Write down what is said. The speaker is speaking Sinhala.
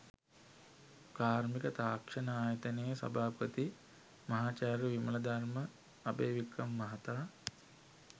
කාර්මික තාක්ෂණ ආයතනයේ සභාපති මහාචාර්ය විමලධර්ම අභයවික්‍රම මහතා